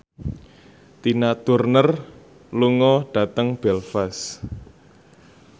Tina Turner lunga dhateng Belfast